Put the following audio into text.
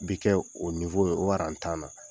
Bi kɛ o ye o aran tan na.